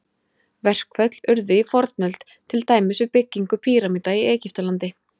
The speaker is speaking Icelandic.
Verkföll urðu í fornöld, til dæmis við byggingu pýramída í Egyptalandi.